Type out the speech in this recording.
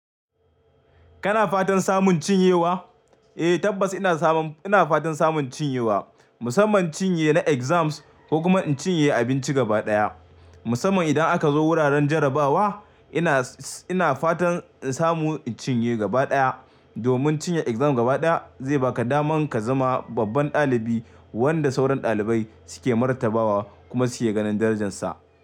Kana fatan samun cinyewa? Eh tabbas ina fatan samun cinyewa, musamman cinye na exams ko kuma in cinye abinci gaba ɗaya. Musamman idan aka zo wuraren jarabawa ina, ina fatan in samu in cinye gaba ɗaya. Domin cinye exam gaba ɗaya zai baka daman ka zama babban ɗalibi wanda sauran ɗalibai suke martabawa kuma suke ganin darajarsa.